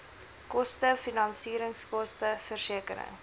koste finansieringskoste versekering